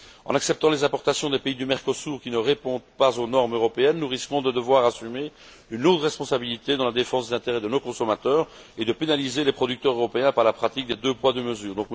En acceptant les importations des pays du Mercosur qui ne répondent pas aux normes européennes, nous risquons de devoir assumer une lourde responsabilité dans la défense des intérêts de nos consommateurs et de pénaliser les producteurs européens par la pratique des deux poids, deux mesures.